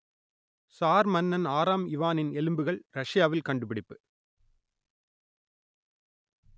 sir மன்னன் ஆறாம் இவானின் எலும்புகள் ரஷ்யாவில் கண்டுபிடிப்பு